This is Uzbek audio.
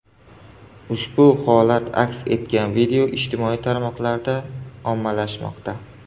Ushbu holat aks etgan video ijtimoiy tarmoqlarda ommalashmoqda.